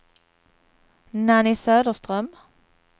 Nanny Söderström